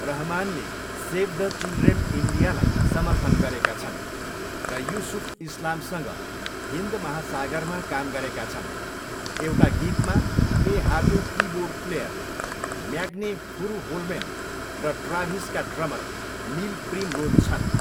रहमानले save the children इन्डियालाई समर्थन गरेका छन् र युसुफ इस्लामसँग हिन्द महासागरमा काम गरेका छन्, एउटा गीतमा ए हाको किबोर्ड प्लेयर म्याग्ने फुरुहोलमेन र ट्राभिसका ड्रमर निल प्रिमरोज छन्।